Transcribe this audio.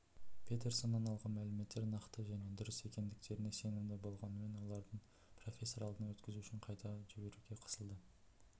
петерсоннан алған мәліметтер нақты және дұрыс екендіктеріне сенімді болғанымен оларды профессордың алдынан өткізу үшін қайта жіберуге қысылды